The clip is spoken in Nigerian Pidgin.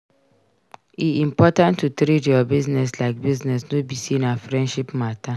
E important to treat your business like business no be say na friendship matter.